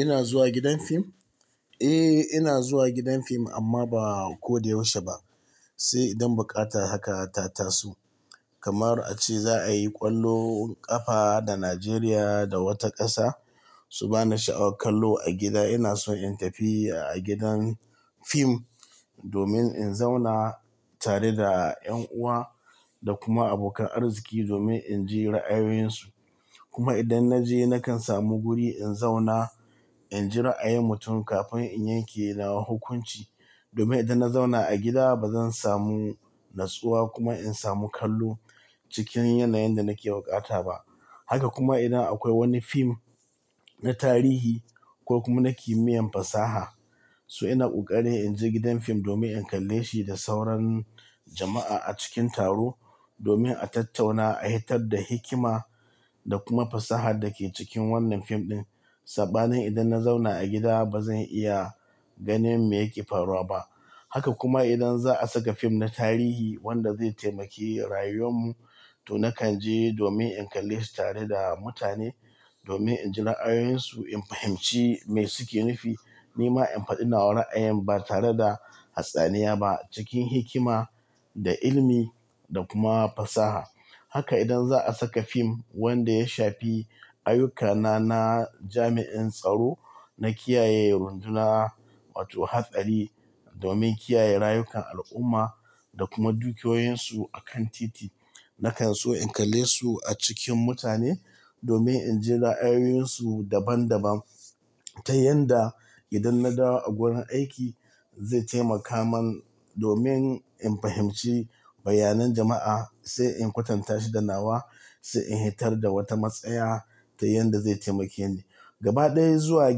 Ina zuwa gidan fim? Eh, ina zuwa gidan fim amma ba ko da yaushe ba, sai idan buƙata haka ta tasu. Kamar a ce za a yi ƙwallon ƙafa da Nigeria da wata ƙasa, su ba na sha'awar kallo a gida, ina so in tafi a gidan fim domin in zauna tare da ƴan uwa da kuma abokan arziki domin in ji ra'ayoyinsu. Kuma idan na je nakan samu guri in zauna, in ji ra'ayin mutum kafin in yanke nawa hukunci. Domin idan na zauna a gida ba zan samu nutsuwa kuma in samu kallo cikin yanayin da nake buƙata ba. Haka kuma idan akwai wani fim na tarihi ko kuma na kimiyyar fasaha, so ina ƙoƙari in je gidan fim domin in kalle shi da sauran jama'a a cikin taro domin a tattauna, a hitar da hikima da kuma fasahar da ke cikin wannan fim ɗin. Sabanin idan na zauna a gida ba zan iya ganin me yake faruwa ba. Haka kuma idan za a saka fim na tarihi wanda zai taimaki rayuwar mu, to nakan je domin in kalle shi tare da mutane domin in ji ra'ayoyinsu, in fahimci me suke nufi, ni ma in faɗi nawa ra'ayin ba tare da hatsaniya ba cikin hikima da ilimi da kuma fasaha. Haka idan za a saka fim wanda ya shafi ayyukana na jami'in tsaro, na kiyaye runduna wato hatsali domin kiyaye rayukan al'umma da kuma dukiyoyinsu a kan titi, nakan so in kalle su a cikin mutane domin in ji ra'ayoyinsu daban daban ta yanda idan naɗawa a wurin aiki zai taimaka mun domin in fahimci bayanan jama'a sai in kwatanta shi da nawa sai in hitar da wata matsaya ta yanda zai taimake ni. Gaba ɗaya zuwa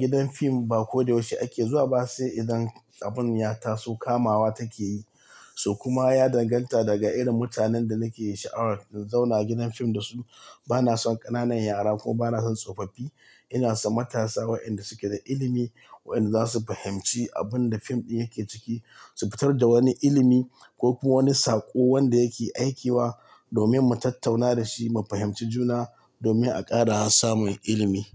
gidan fim ba ko da yaushe ake zuwa ba sai idan abun ya taso kamawa take yi. To kuma ya danganta daga irin mutanen da nake sha'awar in zauna gidan fim da su. Ba na son ƙananan yara kuma ba na son tsofaffi. Ina so matasa wayanda suke da ilimi wayanda za su fahimci abun da fim ɗin yake ciki, su fitar da wani ilimi ko kuma wani saƙo wanda yake aikiwa domin mu tattauna da shi, mu fahimci juna domin a ƙara samun ilimi.